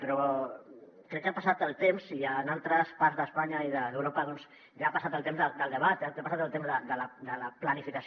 però crec que ha passat el temps i en altres parts d’espanya i d’europa doncs ja ha passat el temps del debat ja ha passat el temps de la planificació